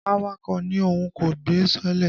Awakọ̀ ní Òun kò gbé sọọ́lẹ̀.